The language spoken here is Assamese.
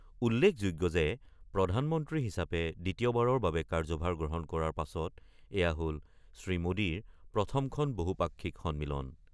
উল্লেখযোগ্য যে প্ৰধানমন্ত্ৰী হিচাপে দ্বিতীয়বাৰৰ বাবে কাৰ্যভাৰ গ্ৰহণ কৰাৰ পাছত এয়া হ'ল শ্ৰীমোদীৰ প্ৰথমখন বহুপাক্ষিক সন্মিলন।